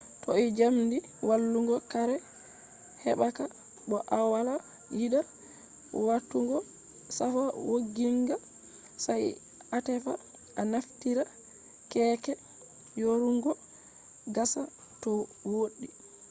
toh jamdi wallungo kare hebaka bo awala yida watugo safa wogginga sai atefa a naftira keeke yorungo gasa to wodi